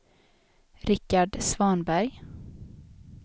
Richard Svanberg